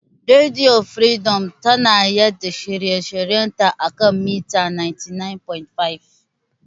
Rediyo firidom tana yaɗa shirye shiryen ta a kan mita 99.5.